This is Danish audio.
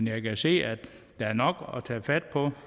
jeg kan se at der er nok at tage fat på